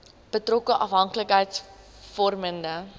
betrokke afhanklikheids vormende